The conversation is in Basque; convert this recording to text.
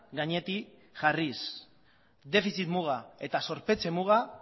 gainetik jarriz defizit muga eta zorpetze muga